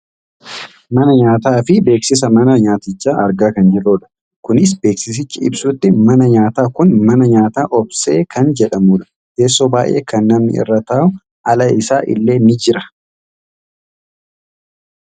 Mana nyaataa fi beeksisa mana nyaatichaa argaa kan jirrudha. Kunis akka beeksisichi ibsutti manni nyaataa kun mana nyaataa Obsee kan jedhamudha. Teessoo baayyee kan namni irra taa'u ala isaa illee ni jira.